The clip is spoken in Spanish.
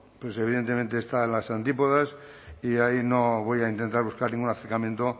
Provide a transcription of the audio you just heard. pues evidentemente está en las antípodas y ahí no voy a intentar buscar ningún acercamiento